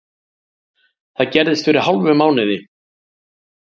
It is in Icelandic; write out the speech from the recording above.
Það gerðist fyrir hálfum mánuði